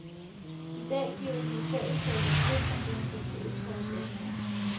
I dag giver de i fællesskab et vink om demokratiets forudsætninger.